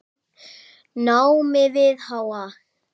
námi við HA.